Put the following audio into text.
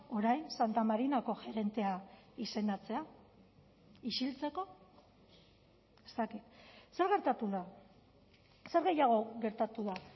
orain santa marinako gerentea izendatzea isiltzeko ez dakit zer gertatu da zer gehiago gertatu da